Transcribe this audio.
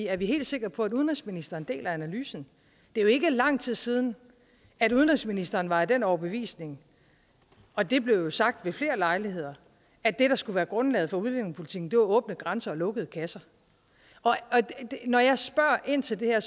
er vi helt sikre på at udenrigsministeren deler analysen det er jo ikke lang tid siden at udenrigsministeren var af den overbevisning og det blev sagt ved flere lejligheder at det der skulle være grundlaget for udlændingepolitikken var åbne grænser og lukkede kasser når jeg spørger ind til det her